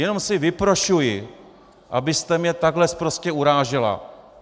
Jenom si vyprošuji, abyste mě takhle sprostě urážela.